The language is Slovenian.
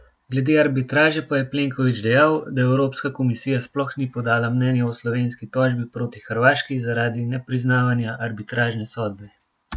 Glede arbitraže pa je Plenković dejal, da Evropska komisija sploh ni podala mnenja o slovenski tožbi proti Hrvaški zaradi nepriznavanja arbitražne sodbe.